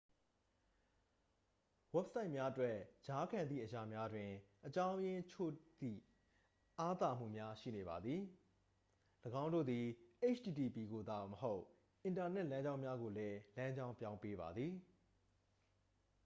ဝက်ဆိုက်များအတွက် ကြားခံသည့်အရာများတွင် အကြောင်းအရင်းချို့ကြောင့် အားသာမှုများရှိနေပါသည် ၎င်းတို့သည် http ကိုသာမဟုတ် အင်တာနက် လမ်းကြောင်းများကိုလည်း လမ်းကြောင်းပြောင်းပေးပါသည်